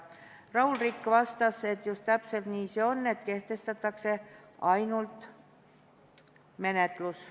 Raul Rikk vastast, et just täpselt nii see on, kehtestatakse ainult menetlus.